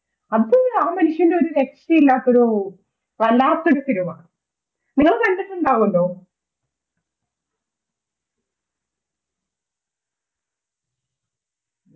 അത് ആ മനുഷ്യന്റെ ഒരുരക്ഷയില്ലാത്തൊരു കലാസൃഷ്ടിരാമ നിങ്ങളുകണ്ടിട്ടുണ്ടാകുമല്ലോ